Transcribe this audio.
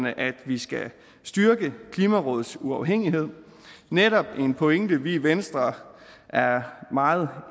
at vi skal styrke klimarådets uafhængighed netop en pointe vi i venstre er meget